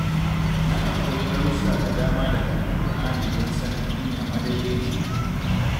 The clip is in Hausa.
Na kan koyi darussa da dama daga Alkur'ani don sanin hanya madaidaiciya.